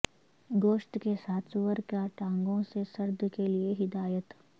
گوشت کے ساتھ سور کا ٹانگوں سے سرد کے لئے ہدایت